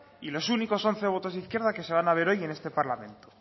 y los únicos once votos de izquierda que se van a ver hoy en este parlamento